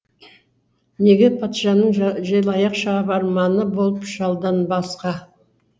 неге патшаның желаяқ шабарманы болып жалданбасқа